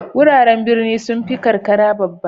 Wuraren birni sun fi karkara babba.